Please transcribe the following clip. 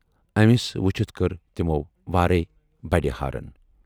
أمِس وٕچِھتھ کٔر تِمو وارَے بَڑِ ہارَن۔